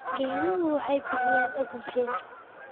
Geeduhu waxay bixiyaan ogsijiin.